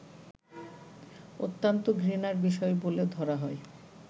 অত্যন্ত ঘৃণার বিষয় বলে ধরা হয়